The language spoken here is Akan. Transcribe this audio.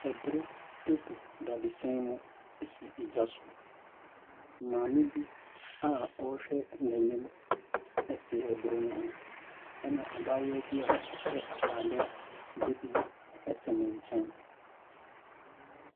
Aburo gu dadesɛn mu si gya so. Maame bi a ɔrehwɛ n'anim te aburo no ho ɛna abaayewa bi a ɔhyɛ atadeɛ bibire te ne nkyan.